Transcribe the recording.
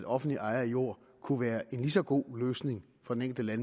offentlig eje af jorden kunne være en mindst lige så god løsning for den enkelte